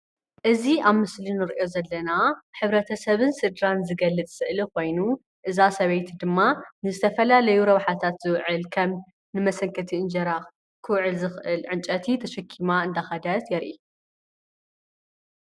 እዚ ኣብ ምስሊ እንሪኦ ዘለና ሕብረተሰብን ስድራን ዝገልፅ ስእሊ ኮይኑ እዛ ሰበይቲ ድማ ንዝተፈላለዩ ረብሓታት ዝውዕል ከም ንመሰንከቲ እንጀራ ክውዕል እንጨይቲ ተሸኪማ እንዳኸደት ድማ የርኢ፡፡